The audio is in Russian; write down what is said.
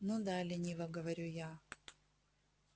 ну да лениво говорю я